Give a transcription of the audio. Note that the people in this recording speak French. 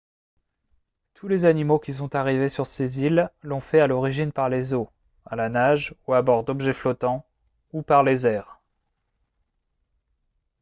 tous les animaux qui sont arrivés sur ces îles l'ont fait à l'origine par les eaux à la nage ou à bord d'objets flottants ou par les airs